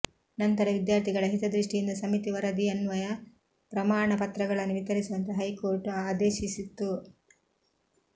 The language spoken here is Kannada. ನಂತರ ವಿದ್ಯಾರ್ಥಿಗಳ ಹಿತದೃಷ್ಟಿಯಿಂದ ಸಮಿತಿ ವರದಿಯನ್ವಯ ಪ್ರಮಾಣ ಪತ್ರಗಳನ್ನು ವಿತರಿಸುವಂತೆ ಹೈಕೋರ್ಟ್ ಆದೇಶಿಸಿತ್ತು